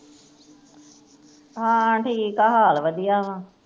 ਹਾ ਠੀਕ ਹੈ ਹਾਲ ਵਧੀਆ ਵਾਂ